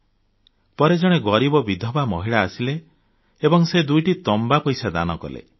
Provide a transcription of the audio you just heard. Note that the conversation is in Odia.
ଥରେ ଜଣେ ଗରିବ ବିଧବା ମହିଳା ଆସିଲେ ଏବଂ ସେ ଦୁଇଟି ତମ୍ବା ପଇସା ଦାନ କଲେ